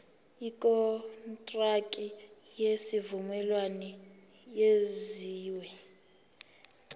ikontraki yesivumelwano eyenziwe